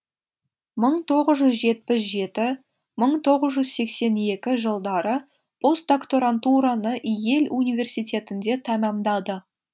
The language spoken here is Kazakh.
мың тоғыз жүз жетпіс жеті мың тоғыз жүз сексен екі жылдары постдокторантураны йель университетінде тәмамдады